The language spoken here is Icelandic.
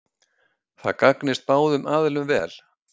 Það gagnist báðum aðilum vel